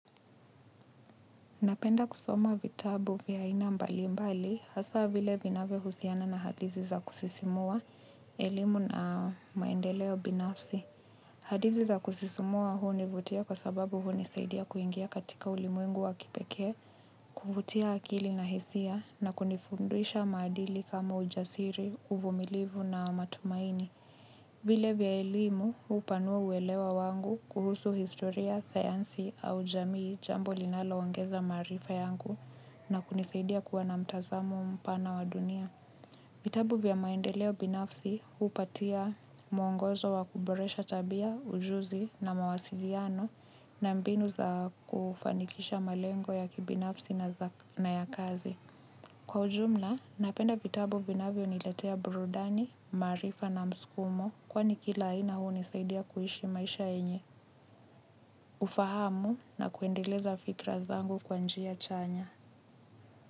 Napenda kusoma vitabu vya aina mbali mbali hasa vile vinavyo husiana na hadithi za kusisimua elimu na maendeleo binafsi. Hadithi za kusisimua hunivutia kwa sababu hunisaidia kuingia katika ulimwengu wa kipekee kuvutia akili na hisia na kunifundisha maadili kama ujasiri uvumilivu na matumaini. Vile vya elimu hupanua uwelewa wangu kuhusu historia, sayansi au jamii jambo linalo ongeza maarifa yangu na kunisaidia kuwa na mtazamo mpana wa dunia. Vitabu vya maendeleo binafsi upatia muongozo wa kuboresha tabia, ujuzi na mawasiliano na mbinu za kufanikisha malengo ya kibinafsi na ya kazi. Kwa ujumla, napenda vitabu vinavyo niletea burudani, maarifa na mskumo kwani kila aina hunisaidia kuishi maisha yenye. Ufahamu na kuendeleza fikra zangu kwa njia chanya.